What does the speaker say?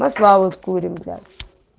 масла вот курим блядь